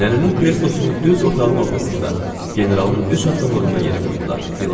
Nənənin kreslosunu düz otağın ortasında, generalın üç addımlığında yerə qoydular.